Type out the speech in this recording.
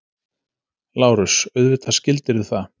LÁRUS: Auðvitað skildirðu það.